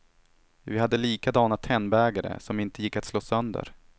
Vi hade likadana tennbägare, som inte gick att slå sönder.